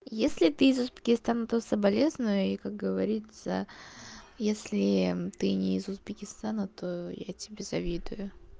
если ты из узбекистана то соболезную и как говорится если ты не из узбекистана то я тебе завидую